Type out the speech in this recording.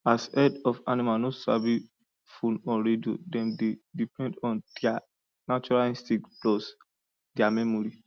as herd of animals no sabi phone or radio dem dey depend on dia natural instinct plus dia memory